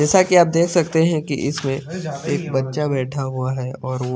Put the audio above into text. जेसा की आप देख सकते की इसमें एक बच्चा बेठा हुआ है और वो--